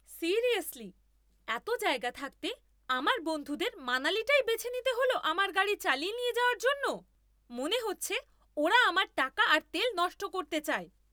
Seriously, এতো জায়গা থাকতে আমার বন্ধুদের মানালিটাই বেছে নিতে হল আমার গাড়ি চালিয়ে যাওয়ার জন্য! মনে হচ্ছে ওরা আমার টাকা আর তেল নষ্ট করতে চায়!